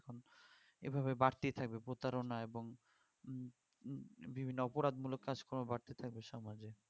এভাবে বাড়তেই থাকবে প্রতারণ এবং বিভিন্ন অপরাধ মূলক কাজ কর্ম বাড়তে থাকবে সমাজে